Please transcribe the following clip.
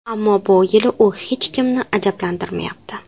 Ammo bu yili u hech kimni ajablantirmayapti.